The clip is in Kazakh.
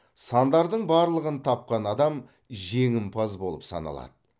сандардың барлығын тапқан адам жеңімпаз болып саналады